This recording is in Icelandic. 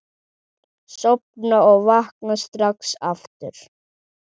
Sofna og vakna strax aftur.